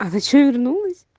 а ты что вернулась